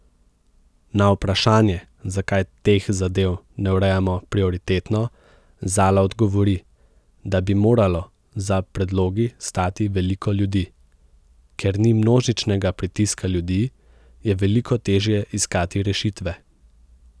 Na vprašanje, zakaj teh zadev ne urejamo prioritetno, Zala odgovori, da bi moralo za predlogi stati veliko ljudi: 'Ker ni množičnega pritiska ljudi, je veliko težje iskati rešitve.